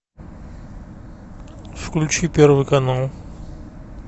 включи первый канал